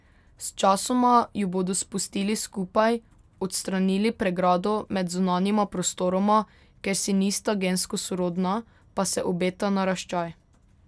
Sčasoma ju bodo spustili skupaj, odstranili pregrado med zunanjima prostoroma, ker si nista gensko sorodna, pa se obeta naraščaj.